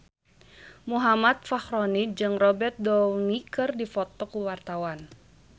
Muhammad Fachroni jeung Robert Downey keur dipoto ku wartawan